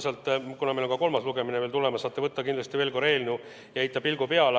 Pärast saate – kuna meil on ka kolmas lugemine tulemas – kindlasti veel korra eelnõu ette võtta ja heita pilgu peale.